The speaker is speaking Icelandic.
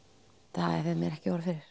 það hefði mig ekki órað fyrir